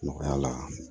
Nɔgɔya la